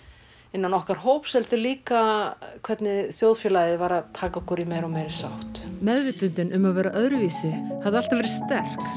innan okkar hóps heldur líka hvernig þjóðfélagið var að taka okkur í meiri og meiri sátt meðvitundin um að vera öðruvísi hafði alltaf verið sterk